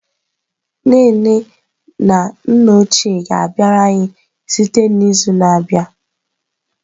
Nne nne na nna ochie ga-abịara anyị site n'izu na-abịa.